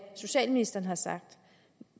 socialministeren har sagt